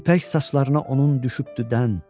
İpək saçlarına onun düşübdü dən.